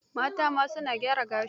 Mata ma, su na tara gashi.